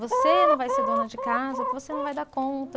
Você não vai ser dona de casa porque você não vai dar conta.